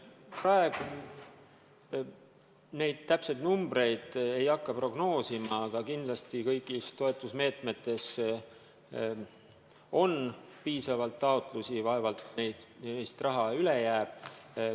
Praegu ma täpseid numbreid ei hakka prognoosima, aga kõigis toetusmeetmetes on piisavalt taotlusi, vaevalt neist raha üle jääb.